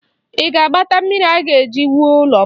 Ị ga-agbata mmiri a ga-eji wuo ụlọ m?